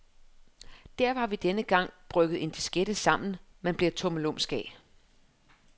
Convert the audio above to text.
Derfor har vi denne gang brygget en diskette sammen, man bliver tummelumsk af.